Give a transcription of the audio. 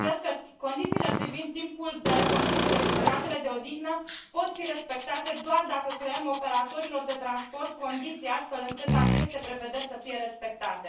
Cred că condițiile privind timpul de conducere și perioadele de odihnă pot fi respectate doar dacă creăm operatorilor de transport condiții astfel încât aceste dispoziții să fie respectate.